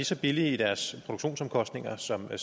så billige i deres produktionsomkostninger som